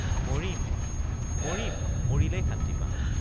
মৰিম মৰিম মৰিলেই শান্তি পাম।